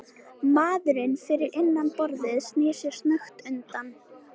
Maðurinn fyrir innan borðið snýr sér snöggt undan.